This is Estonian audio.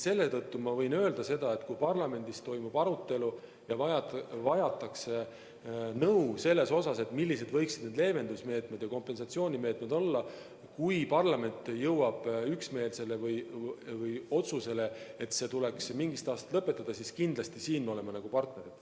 Seetõttu ma võin öelda, et kui parlamendis toimub arutelu ja vajatakse nõu selle kohta, millised võiksid need leevendus- ja kompensatsioonimeetmed olla, juhul kui parlament jõuab üksmeelsele otsusele, et tuleks mingist aastast lõpetada, siis siin me oleme kindlasti partnerid.